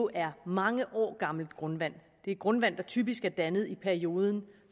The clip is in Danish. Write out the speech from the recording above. er mange år gammelt grundvand det er grundvand der typisk er dannet i perioden